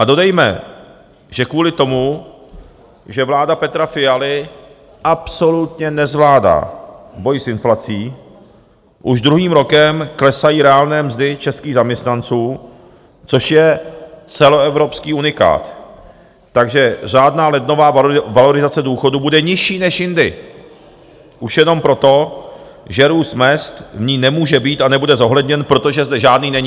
A dodejme, že kvůli tomu, že vláda Petra Fialy absolutně nezvládá boj s inflací, už druhým rokem klesají reálné mzdy českých zaměstnanců, což je celoevropský unikát, takže řádná lednová valorizace důchodů bude nižší než jindy už jenom proto, že růst mezd v ní nemůže být a nebude zohledněn, protože zde žádný není.